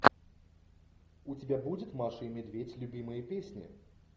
у тебя будет маша и медведь любимые песни